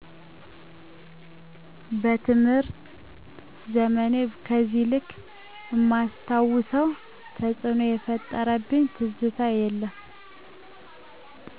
በትምህር ዘመኔ በዚህ ልክ እማስታውሰው ተጽኖ የፈጠረብኝ ትዝታ የለም።